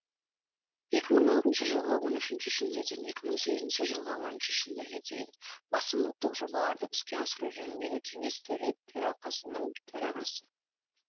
екі мың алтыншы жылғы он үшінші шілдеден екі мың сегізінші жылғы оныншы шілдеге дейін басым ұлттық жобаларды іске асыру жөніндегі кеңес төралқасының төрағасы